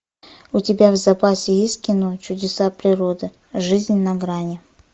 у тебя в запасе есть кино чудеса природы жизнь на грани